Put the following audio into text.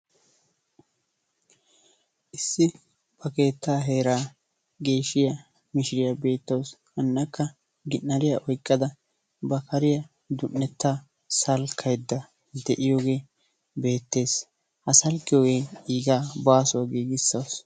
issi ba keettaa geeshiya mishiriya beetawusu, hanakka ginariya oyqada ba kariya salkaydda beetawusu, akka ba kariya giigisawusu.